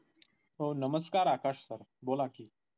हो नमस्कार आकाश sir बोला कि